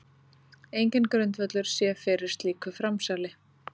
Enginn grundvöllur sé fyrir slíku framsali